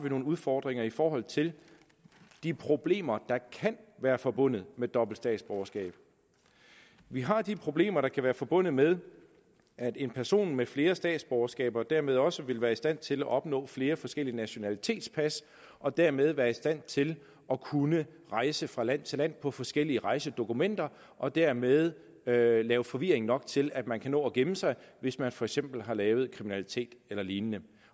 nogle udfordringer i forhold til de problemer der kan være forbundet med dobbelt statsborgerskab vi har de problemer der kan være forbundet med at en person med flere statsborgerskaber dermed også vil være i stand til at opnå flere forskellige nationalitetspas og dermed være i stand til at kunne rejse fra land til land på forskellige rejsedokumenter og dermed lave lave forvirring nok til at man kan nå at gemme sig hvis man for eksempel har lavet kriminalitet eller lignende